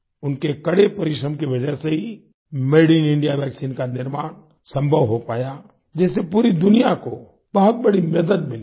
उनके कड़े परिश्रम की वजह से ही मादे इन इंडिया वैक्सीन का निर्माण संभव हो पाया जिससे पूरी दुनिया को बहुत बड़ी मदद मिली है